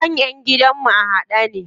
Kan ƴan gidan mu a haɗe ne.